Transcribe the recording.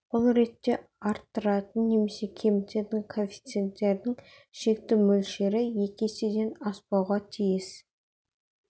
бұл ретте арттыратын немесе кемітетін коэффициенттердің шекті мөлшері екі еседен аспауға тиіс